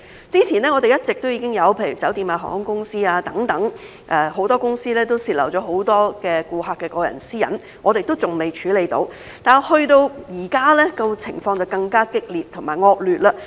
之前一直已經有例如酒店、航空公司等多間公司泄漏很多顧客的個人私隱，我們還未處理，但到了現在，情況就更加激烈和惡劣。